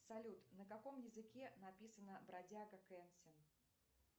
салют на каком языке написана бродяга кэнсин